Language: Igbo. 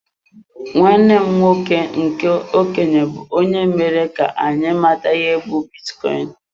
Nwanne m nwoke nke okenye bu onye mere ka anyị mata ihe be bitcoin.